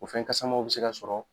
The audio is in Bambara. O fɛn kasamanw bɛ se ka sɔrɔ